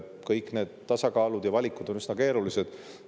Kõik need tasakaalud ja valikud on üsna keerulised.